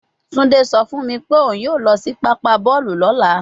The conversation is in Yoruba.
Tunde so fun mi pe oun yoo lo si papa boolu lola